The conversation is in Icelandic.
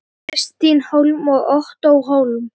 Kristín Hólm og Ottó Hólm.